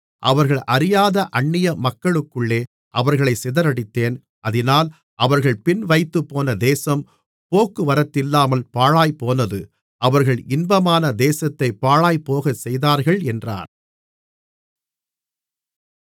அவர்கள் அறியாத அன்னியமக்களுக்குள்ளே அவர்களைச் சிதறடித்தேன் அதினால் அவர்கள் பின்வைத்துப்போன தேசம் போக்குவரத்தில்லாமல் பாழாய்ப்போனது அவர்கள் இன்பமான தேசத்தைப் பாழாய்ப்போகச் செய்தார்கள் என்றார்